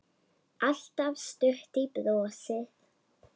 Alltaf stutt í brosið.